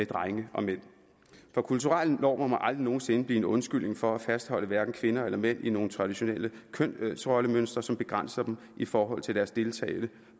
drenge og mænd for kulturelle normer må aldrig nogen sinde blive en undskyldning for at fastholde hverken kvinder eller mænd i nogle traditionelle kønsrollemønstre som begrænser dem i forhold til deres deltagelse